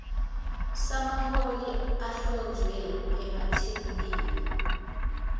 samaholo ahlonzwe emathebulini